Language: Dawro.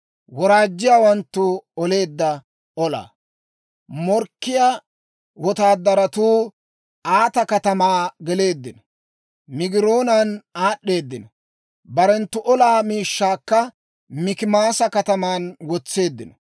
Morkkiyaa wotaadaratuu Aata katamaa geleeddino; Migiroonan aad'd'eedino; barenttu olaa miishshaakka Mikimaasa kataman wotseeddino.